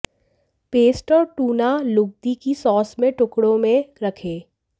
paste और tuna लुगदी को सॉस में टुकड़ों में रखें